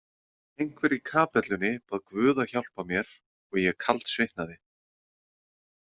Einhver í kapellunni bað Guð að hjálpa mér og ég kaldsvitnaði.